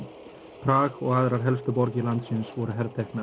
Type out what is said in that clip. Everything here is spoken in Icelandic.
Prag og aðrar helstu borgir landsins voru